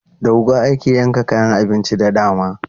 Da wuƙa ake yanka kayan abinci da dama.